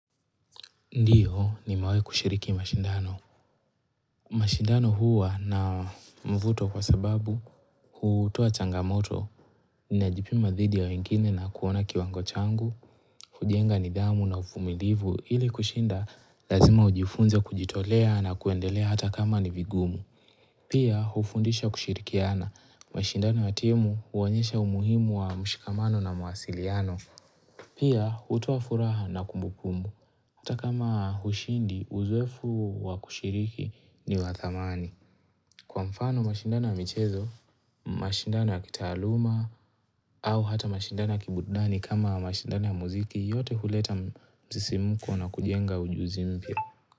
Ndio, nimewahi kushiriki mashindano. Mashindano huwa na mvuto kwa sababu, hutoa changamoto, ninajipima dhidi ya wengine na kuona kiwango changu, hujienga nidhamu na uvumilivu, ili kushinda, lazima ujifunze kujitolea na kuendelea hata kama ni vigumu. Pia, hufundisha kushirikiana. Mashindano ya timu, huonyesha umuhimu wa mshikamano na mawasiliano. Pia, hutoa furaha na kumbukumbu. Hata kama hushindi, uzoefu wa kushiriki ni wa thamani. Kwa mfano mashindano ya michezo, mashindano ya kitaaluma, au hata mashindano ya kiburudani kama mashindano ya muziki, yote huleta msisimuko na kujenga ujuzi mpya.